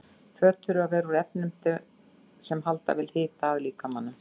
Föt þurfa að vera úr efnum sem halda vel hita að líkamanum.